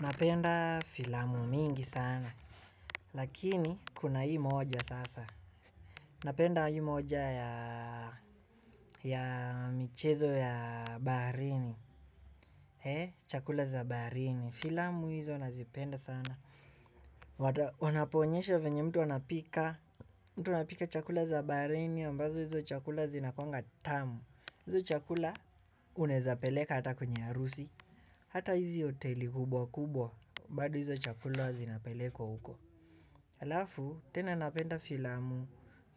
Napenda filamu mingi sana. Lakini, kuna hii moja sasa. Napenda hii moja ya michezo ya baharini. He, chakula za baharini. Filamu hizo nazipenda sana. Wanapoonyesha venye mtu anapika. Mtu anapika chakula za baharini, ambazo hizo chakula zinakuwanga tamu. Hizo chakula unaweza peleka hata kwenye harusi. Hata hizi hoteli kubwa kubwa. Bado hizo chakula zinapelekwa huko. Halafu, tena napenda filamu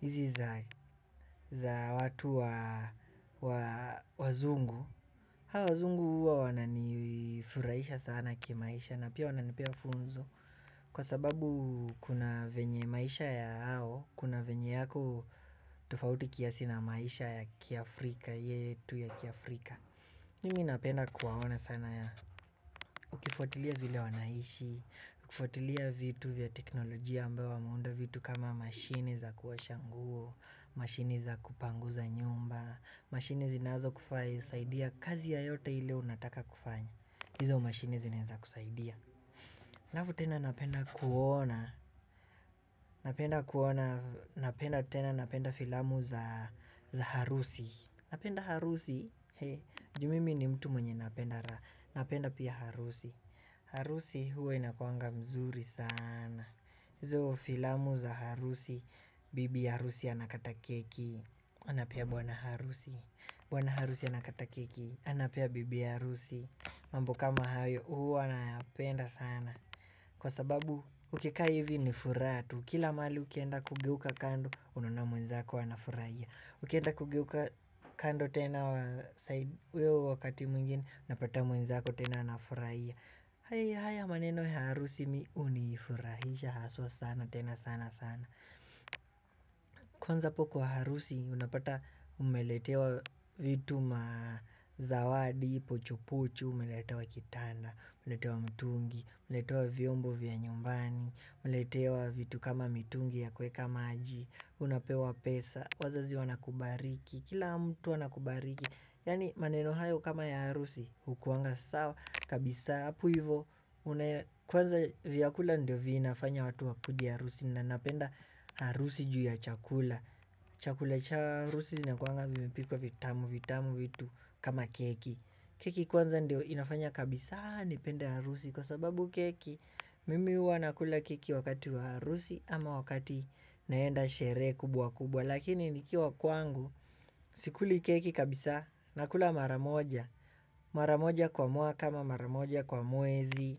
hizi za watu wazungu. Hao wazungu huwa wananifurahisha sana kimaisha na pia wananipea funzo. Kwa sababu kuna venye maisha ya hao, kuna venye yako tofauti kiasi na maisha ya kiafrika, yetu ya kiafrika. Mimi napenda kuwaona sana ya. Ukifuatilia vile wanaishi, ukifuatilia vitu vya teknolojia ambayo wameunda vitu kama mashini za kuosha nguo, mashini za kupanguza nyumba, mashini zinazo kufaa husaidia kazi yoyote ile unataka kufanya. Hizo mashini zinaeza kusaidia. Halafu tena napenda kuona. Napenda tena napenda filamu za harusi. Napenda harusi. Juu mimi ni mtu mwenye napenda. Napenda pia harusi. Harusi huwa inakuanga mzuri sana. Hizo filamu za harusi. Bibi harusi anakata keki. Anapea bwana harusi. Bwana harusi anakata keki. Anapea bibi harusi. Mambo kama hayo huwa nayapenda sana. Kwa sababu ukikaa hivi ni furaha tu. Kila mahali ukienda kugeuka kando unaona mwenzako anafurahia. Ukienda kugeuka kando tena huo wakati mwingine unapata mwenzako tena anafurahia. Haya haya maneno ya harusi mi hunifurahisha haswa sana tena sana sana. Kwanza hapo kwa harusi unapata umeletewa vitu mazawadi pocho pocho. Umeletewa kitanda, umeletewa mtungi, umeletewa vyombo vya nyumbani, umeletewa vitu kama mitungi ya kuweka maji, unapewa pesa, wazazi wanakubariki, kila mtu anakubariki. Yaani maneno hayo kama ya harusi, hukuwanga sawa, kabisa, hapo hivo, kwanza vyakula ndio vinafanya watu wakuje harusi na napenda harusi juu ya chakula. Chakula cha harusi zinakuanga vimepikwa vitamu vitamu vitu kama keki. Keki kwanza ndio inafanya kabisa nipende harusi kwa sababu keki mimi huwa nakula keki wakati wa harusi ama wakati naenda sherehe kubwa kubwa. Lakini nikiwa kwangu sikuli keki kabisa nakula mara moja. Mara moja kwa mwaka ama mara moja kwa mwezi.